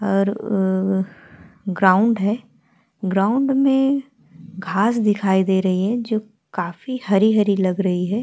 और अ ग्राउंड है। ग्राउंड में घास दिखाई दे रही है जो काफी हरी-हरी लग रही हैं।